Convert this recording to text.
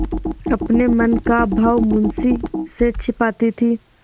अपने मन का भाव मुंशी से छिपाती थी